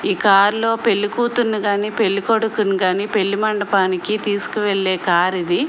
ఈ కారులో పెళ్లికూతురుని గాని పెళ్ళికొడుకుని గాని పెళ్లి మండపానికి తీసుకెళ్లా కారు ఇది.